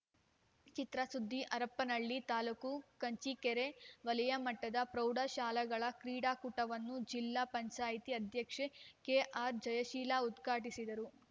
ಚಿತ್ರ ಸುದ್ದಿ ಹರಪನಹಳ್ಳಿ ತಾಲೂಕು ಕಂಚಿಕೇರಿ ವಲಯಮಟ್ಟದ ಪ್ರೌಢ ಶಾಲೆಗಳ ಕ್ರೀಡಾಕೂಟವನ್ನು ಜಿಲ್ಲಾ ಪಂಚಾಯ್ತಿ ಅಧ್ಯಕ್ಷೆ ಕೆಆರ್‌ಜಯಶೀಲ ಉದ್ಘಾಟಿಸಿದರು